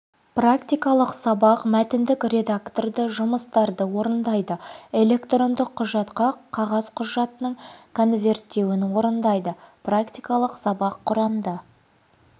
практикалық сабақ мәтіндік редакторда жұмыстарды орындайды электрондық құжатқа қағаз құжатының конверттеуін орындайды практикалық сабақ құрамды